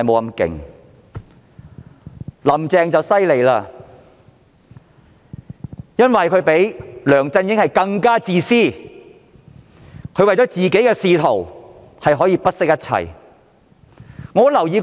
然而，"林鄭"卻厲害了，因為她比梁振英更自私，為了自己的仕途可以不惜一切。